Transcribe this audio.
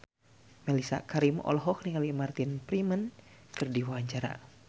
Mellisa Karim olohok ningali Martin Freeman keur diwawancara